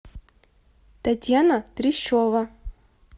татьяна трещева